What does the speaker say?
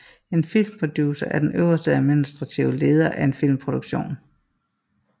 En filmproducer er den øverst administrative leder af en filmproduktion